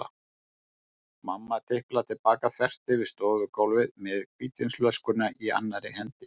Mamma tiplar til baka þvert yfir stofugólfið með hvítvínsflöskuna í annarri hendi.